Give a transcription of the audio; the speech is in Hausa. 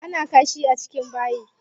Ana kashi a cikin bayi.